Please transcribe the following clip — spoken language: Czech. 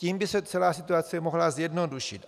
Tím by se celá situace mohla zjednodušit.